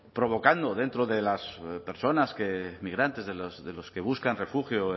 provocando dentro de las personas migrantes de los que buscan refugio